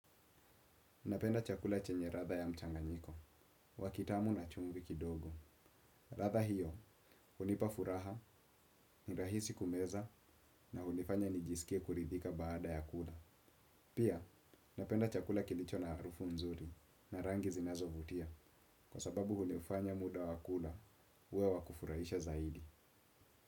Napenda chakula chenye ratha ya mchanganyiko, wakitamu na chumvi kidogo. Ratha hiyo, hunipa furaha, nirahisi kumeza, na hunifanya nijisikie kuridhika baada ya kula. Pia, napenda chakula kilicho na harufu nzuri, na rangi zinazovutia, kwa sababu hunifanya muda wakula, huwe wa kufurahisha zaidi.